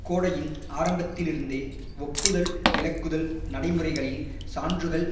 கோடையின் ஆரம்பத்திலிருந்தே ஒப்புதல் விலக்குதல் நடைமுறைகளில் சான்றுகள்